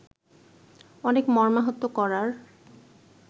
অনেক মর্মাহত করার